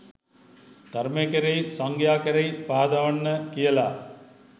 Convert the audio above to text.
ධර්මය කෙරෙහි සංඝයා කෙරෙහි පහදවන්න කියලා.